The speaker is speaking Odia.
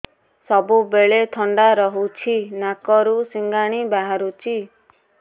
ସବୁବେଳେ ଥଣ୍ଡା ରହୁଛି ନାକରୁ ସିଙ୍ଗାଣି ବାହାରୁଚି